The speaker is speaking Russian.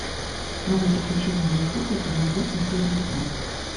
новые приключения винни пуха сезон восемь серия пятнадцать